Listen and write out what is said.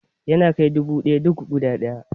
Yana kai dubu ɗaya duk guda ɗaya